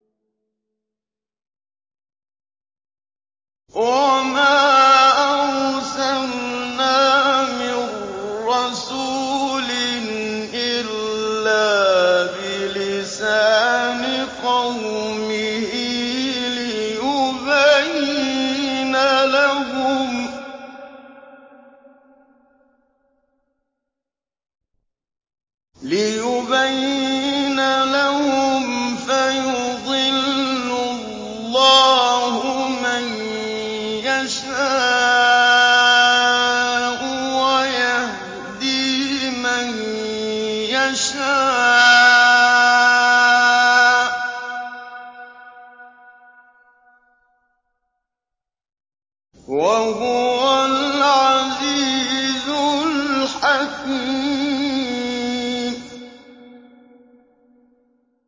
وَمَا أَرْسَلْنَا مِن رَّسُولٍ إِلَّا بِلِسَانِ قَوْمِهِ لِيُبَيِّنَ لَهُمْ ۖ فَيُضِلُّ اللَّهُ مَن يَشَاءُ وَيَهْدِي مَن يَشَاءُ ۚ وَهُوَ الْعَزِيزُ الْحَكِيمُ